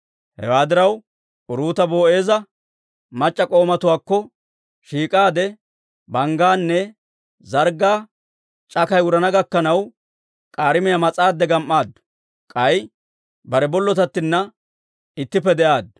Hewaa diraw, Uruuta Boo'eeza mac'c'a k'oomatuwaakko shiik'ade, banggaanne zarggaa c'akay wurana gakkanaw, k'aarimiyaa mas'aadde gam"aaddu. K'ay bare bollotattina ittippe de'aaddu.